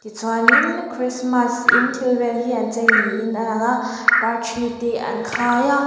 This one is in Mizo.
chuan in krismas in thil vel hi an chei niin a lang a par thi te an khai a.